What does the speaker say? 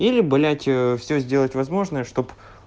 или блять все сделать возможное чтоб